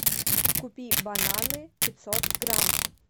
купи бананы пятьсот грамм